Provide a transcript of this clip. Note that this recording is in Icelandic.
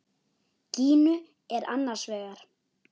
Gínu er annars vegar.